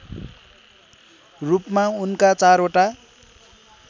रूपमा उनका चारवटा